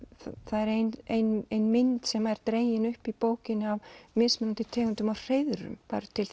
er ein ein mynd sem er dregin upp í bókinni af mismunandi tegundum af hreiðrum það eru til